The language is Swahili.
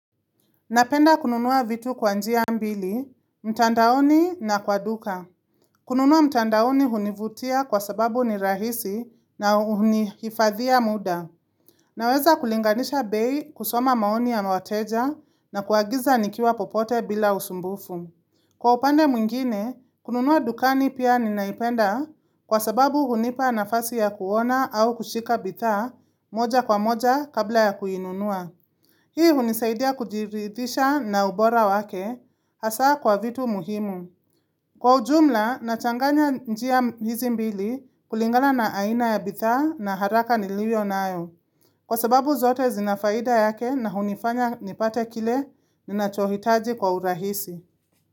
Napenda kununua vitu kwa njia mbili, mtandaoni na kwa duka. Kununua mtandaoni hunivutia kwa sababu ni rahisi na hunihifadhia muda. Naweza kulinganisha bei, kusoma maoni ya ma wateja na kuagiza nikiwa popote bila usumbufu. Kwa upande mwingine, kununua dukani pia ninaipenda kwa sababu hunipa nafasi ya kuona au kushika bidhaa moja kwa moja kabla ya kuinunua. Hii hunisaidia kujiridhisha na ubora wake hasa kwa vitu muhimu. Kwa ujumla, nachanganya njia hizi mbili kulingana na aina ya bidhaa na haraka niliwiyo nayo. Kwa sababu zote zina faida yake na hunifanya nipate kile ninachohitaji kwa urahisi.